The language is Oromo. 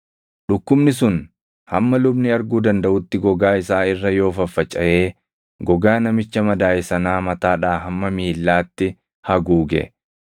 “Dhukkubni sun hamma lubni arguu dandaʼutti gogaa isaa irra yoo faffacaʼee gogaa namicha madaaʼe sanaa mataadhaa hamma miillaatti haguuge,